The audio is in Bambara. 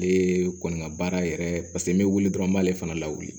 Ale kɔni ka baara yɛrɛ paseke n bɛ wuli dɔrɔn n b'ale fana lawuli